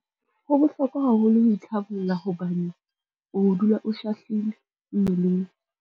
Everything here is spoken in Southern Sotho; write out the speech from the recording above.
Ho bohlokwa haholo ho itlhabolla hobane o dula o shahlile mmeleng.